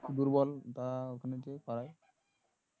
দুর্বল তারা ওখানে নিয়ে গিয়ে করাই